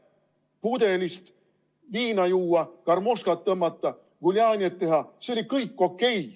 Pudelist viina juua, karmoškat tõmmata, guljanjet teha – see oli kõik okei.